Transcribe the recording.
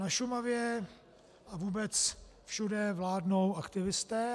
Na Šumavě a vůbec všude vládnou aktivisté.